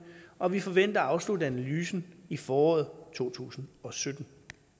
og vi forventer at afslutte analysen i foråret to tusind og sytten